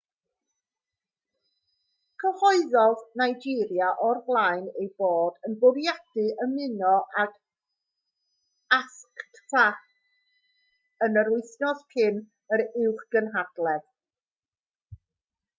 cyhoeddodd nigeria o'r blaen ei bod yn bwriadu ymuno ag afcfta yn yr wythnos cyn yr uwchgynhadledd